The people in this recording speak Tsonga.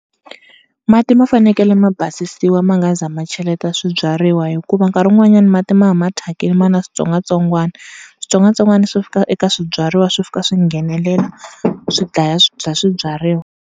Mati ma fanekele ma basisiwa ma nga se za ma cheleta swibyariwa, hikuva nkarhi wun'wanyana mati ma va ma thyakile ma ri na switsongwatsongwana. Switsongwatsongwana swi fika eka swibyariwa swi fika swi nghenelela swi dlaya swibyariwa.